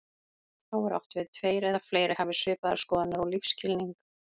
Þá er átt við tveir eða fleiri hafi svipaðar skoðanir og lífsskilning.